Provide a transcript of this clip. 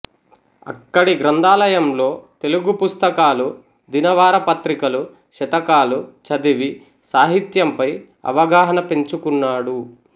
అక్కడి గ్రంథాలయంలో తెలుగు పుస్తకాలు దినవారపత్రికలు శతకాలు చదివి సాహిత్యంపై అవగాహన పెంచుకున్నాడు